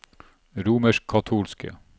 romerskkatolske